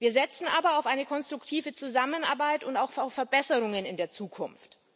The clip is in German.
Wir setzen aber auf eine konstruktive Zusammenarbeit und auch auf Verbesserungen in der Zukunft.